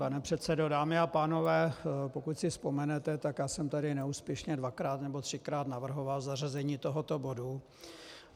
Pane předsedo, dámy a pánové, pokud si vzpomenete, tak já jsem tady neúspěšně dvakrát nebo třikrát navrhoval zařazení tohoto bodu.